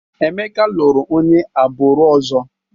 Emeka lụrụ onye agbụrụ ọzọ.